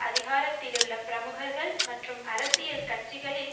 அதிகாரத்திலுள்ள பிரமுகர்கள் மற்றும் அரசியல் கட்சிகளில்